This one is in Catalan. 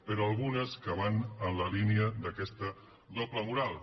però algunes que van en la línia d’aquesta doble moral